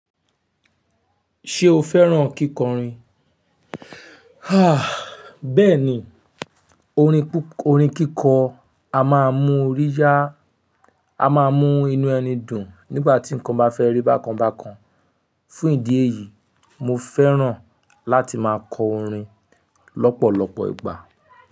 Ṣé o fẹ́ràn kíkọrin? Ha bẹ́ẹ̀ni, orin kíkọ a máa mú ọríyá, a máa mú inú ẹni dùn nígbà tí ǹkan bá fẹ́rí bákan bákan. Fún ìdí èyí, mo fẹ́ràn láti máa kọ orin lọ́pọ̀lọpọ̀ ìgbà.